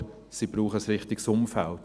Aber sie brauchen ein richtiges Umfeld.